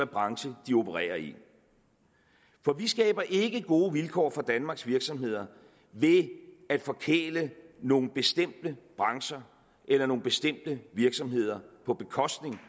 branche de opererer i for vi skaber ikke gode vilkår for danmarks virksomheder ved at forkæle nogle bestemte brancher eller nogle bestemte virksomheder på bekostning